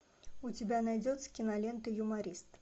у тебя найдется кинолента юморист